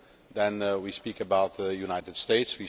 Then we will speak about the United States